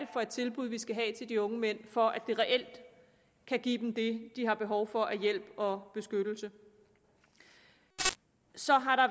for et tilbud vi skal give til de unge mænd for at det reelt kan give dem det de har behov for af hjælp og beskyttelse så har der